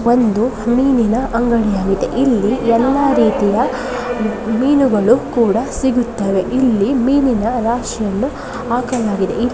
ಒಂದು ಮೀನಿನ ಅಂಗಡಿಯಾಗಿದೆ ಇಲ್ಲಿ ಎಲ್ಲಾ ರೀತಿಯ ಮೀನುಗಳು ಕೂಡ ಸಿಗುತ್ತವೆ ಇಲ್ಲಿ ಮೀನಿನ ರಾಶಿಯನ್ನು ಹಾಕಲಾಗಿದೆ.